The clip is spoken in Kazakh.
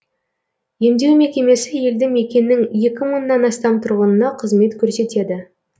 емдеу мекемесі елді мекеннің екі мыңнан астам тұрғынына қызмет көрсетеді